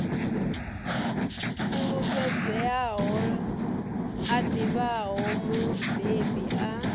fulufhedzeaho a ḓivhaho mubebi a